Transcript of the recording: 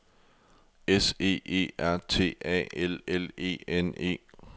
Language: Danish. S E E R T A L L E N E